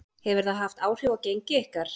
Hefur það haft áhrif á gengi ykkar?